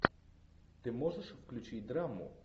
ты можешь включить драму